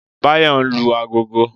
Báyò nlu agogo